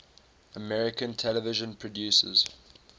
american television producers